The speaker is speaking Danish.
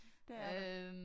Det er der